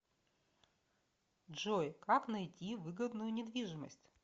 джой как найти выгодную недвижимость